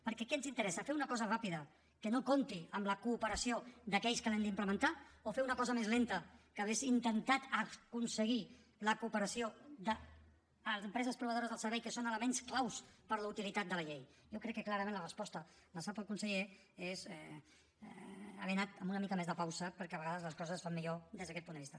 perquè què ens interessa fer una cosa ràpida que no compti amb la cooperació d’aquells que l’han d’implementar o fer una cosa més lenta en què hauríem intentat aconseguir la cooperació de les empreses proveïdores del servei que són elements claus per a la utilitat de la llei jo crec que clarament la resposta la sap el conseller és haver anat amb una mica més de pausa perquè a vegades les coses es fan millor des d’aquest punt de vista